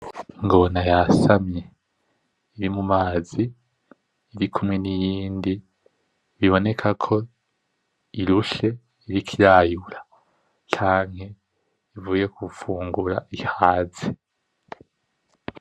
Ingona yasamye iri mu mazi, irikumwe n’iyindi biboneka ko irushe iriko irayura canke ivuye gufungura ihaze.